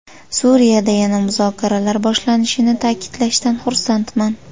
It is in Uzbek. Suriyada yana muzokaralar boshlanishini ta’kidlashdan xursandman.